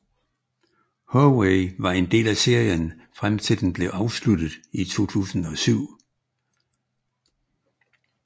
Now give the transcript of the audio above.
Howey var del af serien frem til den blev afsluttet i 2007